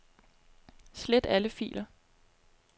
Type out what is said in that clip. Slet alle filer.